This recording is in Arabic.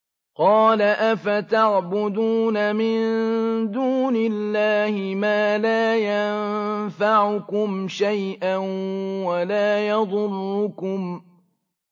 قَالَ أَفَتَعْبُدُونَ مِن دُونِ اللَّهِ مَا لَا يَنفَعُكُمْ شَيْئًا وَلَا يَضُرُّكُمْ